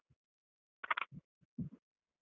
.